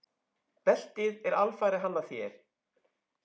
Beltið er alfarið hannað hér.